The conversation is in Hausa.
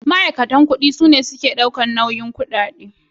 Ma'aikatan ƙudi sune Ma'aikatu da suke daukan nauyin harkoki ƙudade.